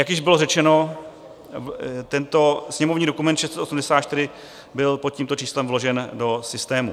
Jak již bylo řečeno, tento sněmovní dokument 684 byl pod tímto číslem vložen do systému.